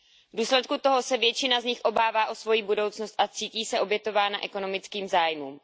V důsledku toho se většina z nich obává o svoji budoucnost a cítí se obětována ekonomických zájmům.